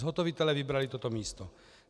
Zhotovitelé vybrali toto místo.